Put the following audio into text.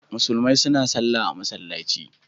Musulmai suna sallah a masallaci.